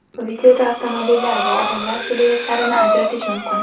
Videoda avtomobillar va odamlar siluetlarini ajratish mumkin.